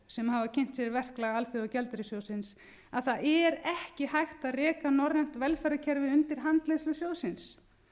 sem hafa kynnt sér verklag alþjóðagjaldeyrissjóðsins að það er ekki hægt að reka norrænt velferðarkerfi undir handleiðslu sjóðsins